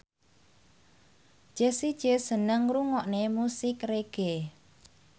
Jessie J seneng ngrungokne musik reggae